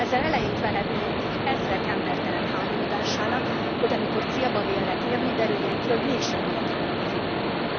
Ezzel elejét vehetnénk ezrek embertelen hányódásának, hogy amikor célba vélnek érni, derüljön ki, hogy mégsem maradhatnak az Unióban.